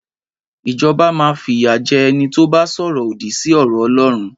Ìjọbá mà fiya jẹ̀ ẹni to bà sọrọ òdí sí ọrọ ọlọrún.